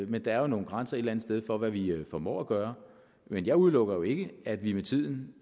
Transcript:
men der er jo nogle grænser et eller andet sted for hvad vi vi formår at gøre men jeg udelukker jo ikke at vi med tiden